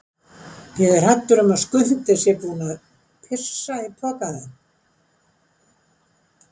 Ég er hræddur um að Skundi sé búinn að pissa í pokann þinn.